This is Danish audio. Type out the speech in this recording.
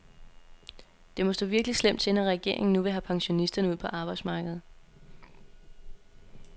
Det må stå virkelig slemt til, når regeringen nu vil have pensionisterne ud på arbejdsmarkedet.